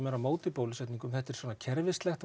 eru á móti bólusetningum þetta er svona kerfislegt